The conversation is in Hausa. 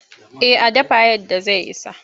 Eh a dafa yadda zai isa.